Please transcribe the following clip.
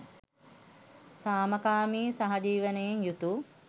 සාමකාමී සහජීවනයෙන් යුතු